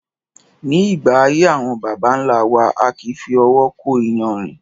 Ní ìgbà ayé àwọn bàbà ńlá wa, a kì í fi owó kó iyanrìn